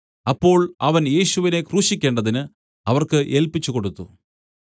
അപ്പോൾ അവൻ യേശുവിനെ ക്രൂശിക്കേണ്ടതിന് അവർക്ക് ഏല്പിച്ചുകൊടുത്തു